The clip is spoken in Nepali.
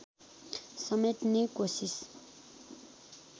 समेट्ने कोसिस